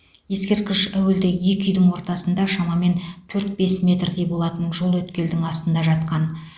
ескерткіш әуелде екі үйдің ортасында шамамен төрт бес метрдей болатын жол өткелдің астында жатқан